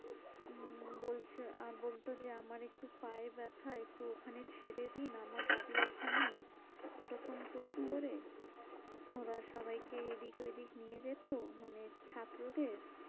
উম বলছে বলতো যে আমার একটু পায়ে ব্যাথা। একটু ওখানে ছেড়ে দিন। আমার বাড়ি ওখানে, এরকম করে করে হম ওরা সবাই কে যদি ঐদিক নিয়ে যেত। মানে ছাত্রদের